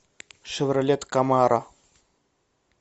шевролет камаро